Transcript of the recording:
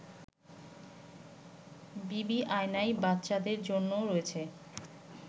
বিবিআনায় বাচ্চাদের জন্যও রয়েছে